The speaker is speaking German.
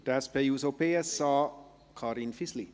Für die SP-JUSO-PSA, Karin Fisli.